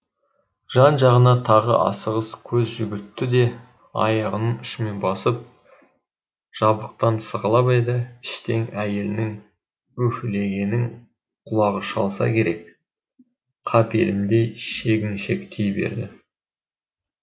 жан жағына тағы асығыс көз жүгіртті де аяғының ұшымен басып жабықтан сығалап еді іштен әйелінің уһілегенін құлағы шалса керек қапелімде шегіншектей берді